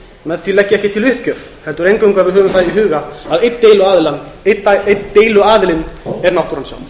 með því legg ég ekki til uppgjöf heldur eingöngu að við höfum það í huga að einn deiluaðilinn er náttúran